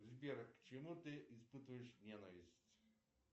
сбер а к чему ты испытываешь ненависть